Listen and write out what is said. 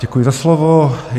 Děkuji za slovo.